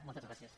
moltes gràcies